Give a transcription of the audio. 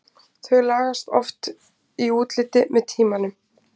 Þau lagast oft í útliti með tímanum.